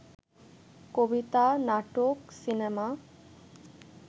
কবিতা, নাটক, সিনেমা